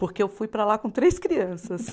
Porque eu fui para lá com três crianças.